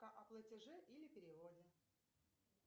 о платеже или переводе